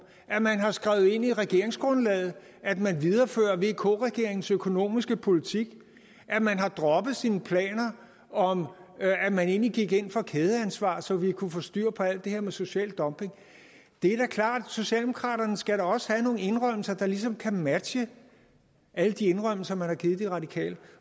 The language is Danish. at man har skrevet ind i regeringsgrundlaget at man viderefører vk regeringens økonomiske politik at man har droppet sine planer om at man egentlig gik ind for kædeansvar så vi kunne få styr på alt det her med social dumping det er da klart socialdemokraterne skal da også have nogle indrømmelser der ligesom kan matche alle de indrømmelser man har givet de radikale